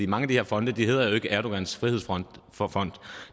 mange af de her fonde hedder jo ikke erdogans frihedsfond